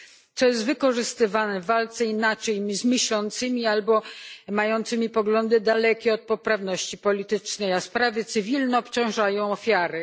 Co jest wykorzystywane w walce z inaczej myślącymi albo mającymi poglądy dalekie od poprawności politycznej, a sprawy cywilne obciążają ofiary.